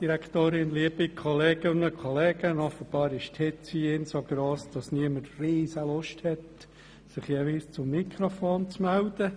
Offenbar ist die Hitze hier drin so gross, dass niemand Lust verspürt, ans Mikrofon zu gehen.